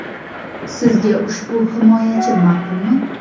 Sizga ushbu himoyachi ma’qulmi?